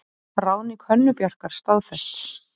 Ráðning Hönnu Bjarkar staðfest